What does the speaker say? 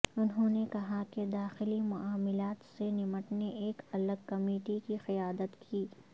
انہوں نے کہا کہ داخلی معاملات سے نمٹنے ایک الگ کمیٹی کی قیادت کی